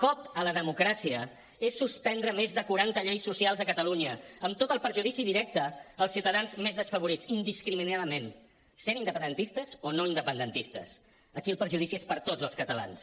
cop a la democràcia és suspendre més de quaranta lleis socials a catalunya amb tot el perjudici directe als ciutadans més desfavorits indiscriminadament siguin independentistes o no independentistes aquí el perjudici és per a tots els catalans